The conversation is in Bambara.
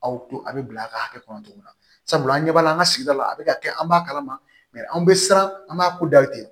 Aw to a bɛ bila a ka hakɛ kɔnɔ cogo min na sabula an ɲɛ b'a la an ka sigida la a bɛ ka kɛ an b'a kalama anw bɛ siran an b'a ko da ten